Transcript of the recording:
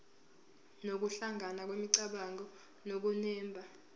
nokuhlangana kwemicabango nokunemba